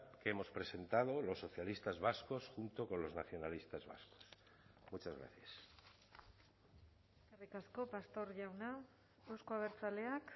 que hemos presentado los socialistas vascos junto con los nacionalistas vascos muchas gracias eskerrik asko pastor jauna euzko abertzaleak